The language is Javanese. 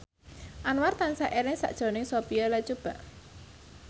Anwar tansah eling sakjroning Sophia Latjuba